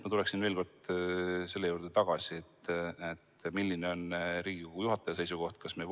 Ma tulen veel kord selle juurde tagasi: milline on Riigikogu juhataja seisukoht?